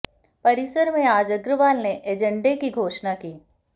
परिसर में आज अग्रवाल ने एजेंडे की घोषणा की